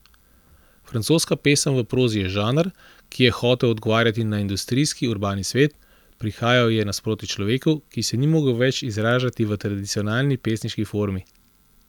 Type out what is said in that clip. Francoska pesem v prozi je žanr, ki je hotel odgovarjati na industrijski, urbani svet, prihajal je naproti človeku, ki se ni mogel več izražati v tradicionalni pesniški formi.